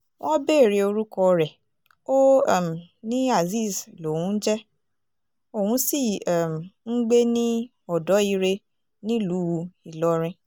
wọ́n béèrè orúkọ rẹ̀ ó um ní azeez lòún ń jẹ́ òun sì um ń gbé ní ọ̀dọ́-ire nílùú ìlọrin